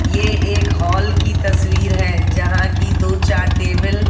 ये एक हॉल की तस्वीर है जहां की दो चार टेबल --